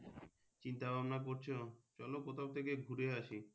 চিন্তা ভাবনা করছো, চলো কোথাও থেকে ঘুরে আসি।